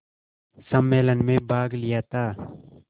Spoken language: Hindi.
सम्मेलन में भाग लिया था